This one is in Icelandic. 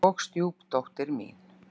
Og stjúpdóttir mín.